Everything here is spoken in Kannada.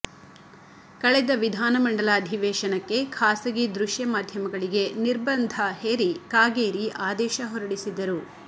ಕಳೆದ ವಿಧಾನಮಂಡಲ ಅಧಿವೇಶನಕ್ಕೆ ಖಾಸಗಿ ದೃಶ್ಯ ಮಾಧ್ಯಮಗಳಿಗೆ ನಿರ್ಬಂಧ ಹೇರಿ ಕಾಗೇರಿ ಆದೇಶ ಹೊರಡಿಸಿದ್ದರು